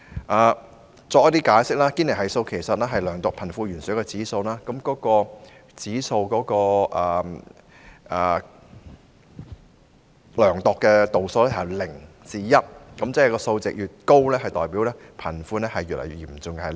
我在此稍作解釋，堅尼系數是量度貧富懸殊的指數，指數所量度的度數由0至 1， 數值越高代表貧富懸殊越嚴重。